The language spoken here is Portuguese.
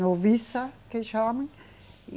Noviça, que chama. E